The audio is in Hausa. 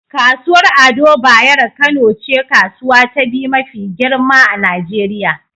Kasuwar Ado Bayero Kano ce kasuwa ta biyu mafi girma a Nijeriya.